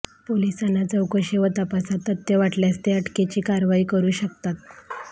पोलिसांना चौकशी व तपासात तथ्य वाटल्यास ते अटकेची कारवाई करू शकतात